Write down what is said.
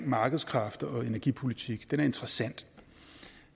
markedskræfter og energipolitik den er interessant